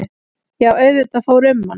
Já auðvitað fór um mann.